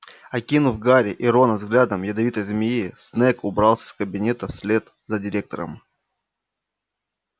окинув гарри и рона взглядом ядовитой змеи снегг убрался из кабинета вслед за директором